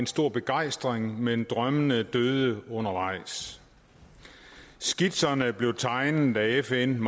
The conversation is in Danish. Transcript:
stor begejstring dengang men drømmene døde undervejs skitserne blevet tegnet af fn